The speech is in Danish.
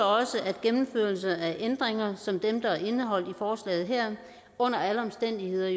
også at en gennemførelse af ændringer som dem der er indeholdt i forslaget her under alle omstændigheder